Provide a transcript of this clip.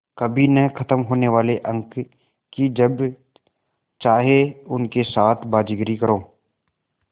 कभी न ख़त्म होने वाले अंक कि जब चाहे उनके साथ बाज़ीगरी करो